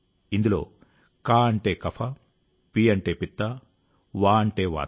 ఇందులో క అంటే కఫ పి అంటే పిత్త వా అంటే వాత